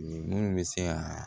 Minnu bɛ se ka